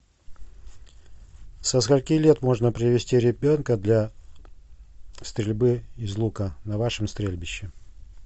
со скольки лет можно привести ребенка для стрельбы из лука на вашем стрельбище